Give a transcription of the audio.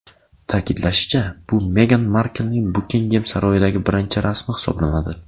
Ta’kidlanishicha, bu Megan Marklning Bukingem saroyidagi birinchi rasmi hisoblanadi.